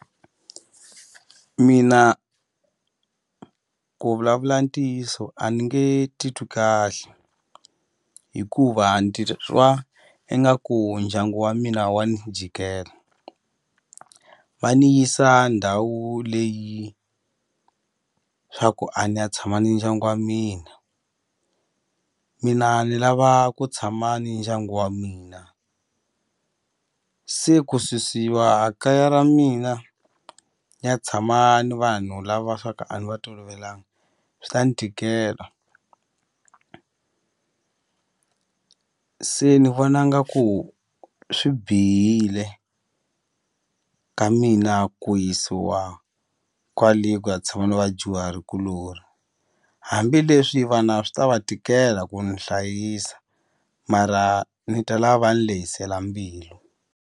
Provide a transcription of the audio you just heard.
Mina ku vulavula ntiyiso a ni nge titwi kahle hikuva ingaku ndyangu wa mina wa ni jikela va ni yisa ndhawu leyi swa ku a ni ya tshama ni ndyangu wa mina mina ni lava ku tshama ni ndyangu wa mina se ku susiwa a kaya ra mina ni ya tshama ni vanhu lava swa ku a ni va tolovelanga swi ta ni tikela se ni vona nga ku swi bihile ka mina ku yisiwa kwale ku ya tshama na vadyuhari kulori hambileswi vana swi ta va tikela ku ni hlayisa mara ni ta lava ni lehisela mbilu.